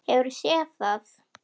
Hefurðu séð það?